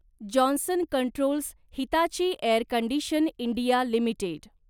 Johnson Controls Hitachi Air Condition India limited